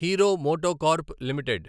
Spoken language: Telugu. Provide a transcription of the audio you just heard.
hero MotoCorp limited